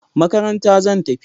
Makaranta zan tafi